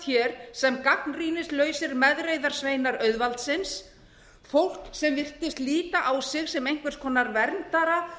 hér sem gagnrýnislausir meðreiðarsveinar auðvaldsins fólk sem virtist líta á sig sem einhvers konar verndara